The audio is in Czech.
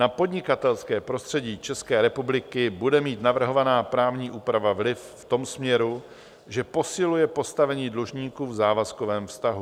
Na podnikatelské prostředí České republiky bude mít navrhovaná právní úprava vliv v tom směru, že posiluje postavení dlužníků v závazkovém vztahu.